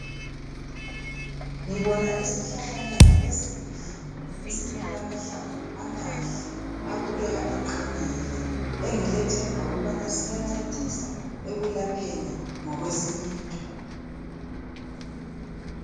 Ngibona isihlahlanyana esihle esilahlamvu amahle abukeka eqinile engilethemba ukubana siyangcedisa ekulapheni ngokwesintu.